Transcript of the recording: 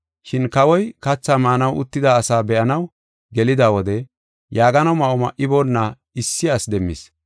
“Shin kawoy kathaa maanaw uttida asaa be7anaw gelida wode yaagano ma7o ma7iboona issi asi demmis.